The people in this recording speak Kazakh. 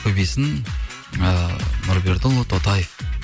көбейсін ыыы нұрбердіұлы тотаев